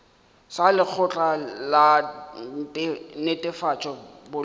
sa lekgotla la netefatšo boleng